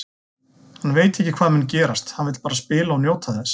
Hann veit ekki hvað mun gerast, hann vill bara spila og njóta þess.